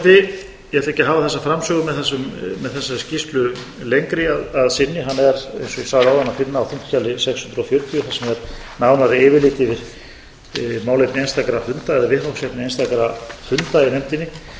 hafa þessa framsögu með þessari skýrslu lengri að sinni hana er eins og ég sagði áðan að finna á þingskjali sex hundruð fjörutíu þar sem er nánara yfirlit yfir málefni einstakra funda eða viðfangsefni einstakra funda